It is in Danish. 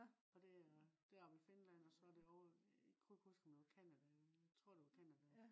og det er det er oppe i finland også det ovre i jeg kan ikke huske om det var canada. jeg tror det var canada